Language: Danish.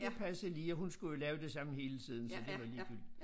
Det passede lige og hun skulle jo lave det samme hele tiden så det var ligegyldigt